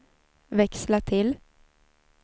växla till